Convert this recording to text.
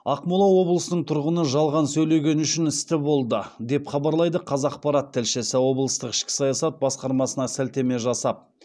ақмола облысының тұрғыны жалған сөйлеген үшін істі болды деп хабарлайды қазақпарат тілшісі облыстық ішкі саясат басқармасына сілтеме жасап